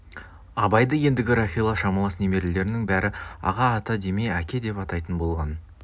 абайды ендігі рахила шамалас немерелерінің бәрі аға ата демей әке деп атайтын болған